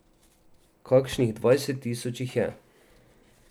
Kakšnih dvajset tisoč jih je.